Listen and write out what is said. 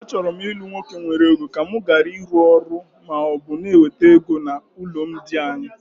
Achọrọ m ilu nwoke nwere ego, ka mụ gharị ịrụ ọrụ maọbụ na ewete ego na alụmdi anyị